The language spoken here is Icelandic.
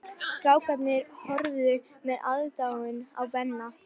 Strákarnir horfðu með aðdáun á Benna.